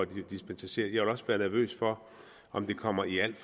dispensere jeg ville også være nervøs for om det kommer i alt